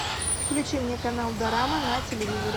включи мне канал дорама на телевизоре